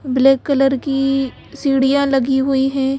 Black colour की सीढ़ियां लगी हुई है।